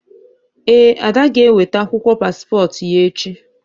Ee, Ada g'enwete akwụkwọ paspọtụ ya echi